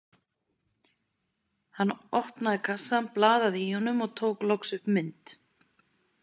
Hann opnaði kassann blaði í honum og tók loks upp mynd.